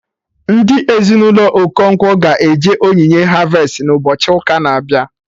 Ndị Ezinụlọ Okonkwo ga eje onyinye harvestị na ụbọchị ụka na-abịa